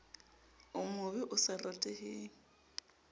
o mobe o sa rateheng